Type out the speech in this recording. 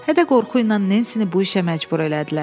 Hədə-qorxu ilə Nensini bu işə məcbur elədilər.